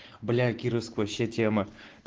блять кировск вообще тема